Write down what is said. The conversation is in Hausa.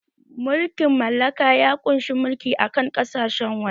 Mulkin mallaka ya ƙunshi mulki a kan ƙasashen waje